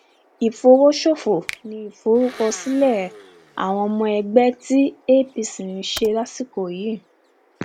ìfọwọsòfò um ni ìforúkọsílẹ àwọn ọmọ ẹgbẹ tí apc ń ṣe lásìkò yìí um